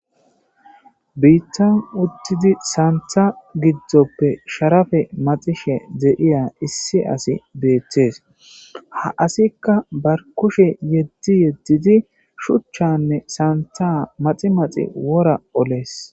biittan uttidi saantha giddzoppe sharafe maxishe de'iya issi asi beettees ha asikka bar kushe yeddi yeddidi shuchchanne saantha maximaxi wora olees